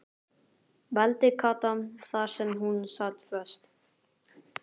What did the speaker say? vældi Kata þar sem hún sat föst.